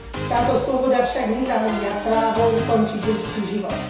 Táto sloboda však nezahŕňa právo ukončiť ľudský život.